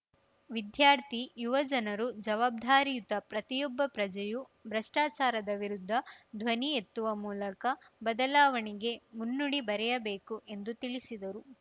ವಿದ್ಯಾರ್ಥಿ ಯುವ ಜನರು ಜವಾಬ್ಧಾರಿಯುತ ಪ್ರತಿಯೊಬ್ಬ ಪ್ರಜೆಯೂ ಭ್ರಷ್ಚಾಚಾರದ ವಿರುದ್ಧ ಧ್ವನಿ ಎತ್ತುವ ಮೂಲಕ ಬದಲಾವಣೆಗೆ ಮುನ್ನುಡಿ ಬರೆಯಬೇಕು ಎಂದು ತಿಳಿಸಿದರು